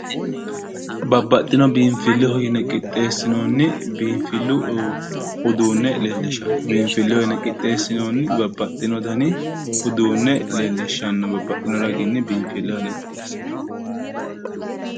Babbaxxino biinfilleho yine qixxeessinoonni biinfillu uduunne leellishshanno biinfilleho yine qixxeessinoonni babbaxxino raginni biinfilleho yine qixxeessinoonni